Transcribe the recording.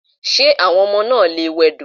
Ṣé àwọn ọmọ náà lè wẹdò?